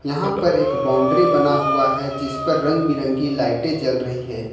यहां पर एक बाउंड्री बना हुआ है जिस पर रंग बिरंगी लाइटे बनी हुई है।